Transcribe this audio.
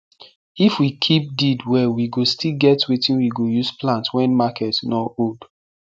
if we keep deed well we go still get wetin we go use plant wen market nor hold